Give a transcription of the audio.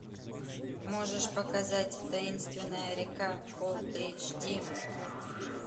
можешь показать таинственная река фул эйч ди